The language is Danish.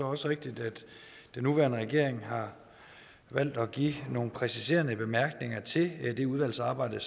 også rigtigt at den nuværende regering har valgt at give nogle præciserende bemærkninger til det udvalgsarbejde